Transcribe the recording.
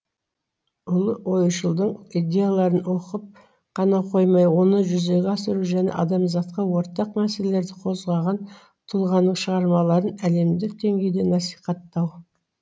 ұлы ойшылдың идеяларын оқып қана қоймай оны жүзеге асыру және адамзатқа ортақ мәселелерді қозғаған тұлғаның шығармаларын әлемдік деңгейде насихаттау